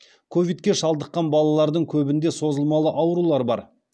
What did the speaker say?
ковидке шалдыққан балалардың көбінде созылмалы аурулар бар